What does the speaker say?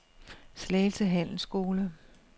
Slagelse Handelsskole